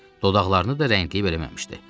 Dodaqlarını da rəngləyib eləməmişdi.